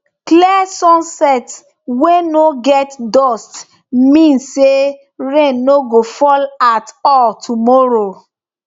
clear sunset wey no get dust mean say rain no go fall at all tomorrow